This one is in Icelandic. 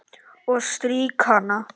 Og strýk hana.